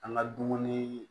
An ka dumuni